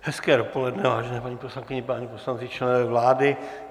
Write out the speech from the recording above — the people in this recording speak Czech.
Hezké dopoledne, vážené paní poslankyně, páni poslanci, členové vlády.